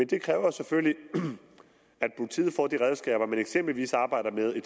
det kræver selvfølgelig at politiet får de redskaber man eksempelvis arbejder med i